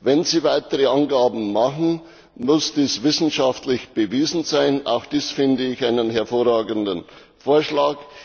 Wenn sie weitere Angaben machen, muss das wissenschaftlich bewiesen sein, auch dies finde ich einen hervorragenden Vorschlag.